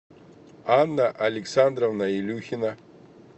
анна александровна илюхина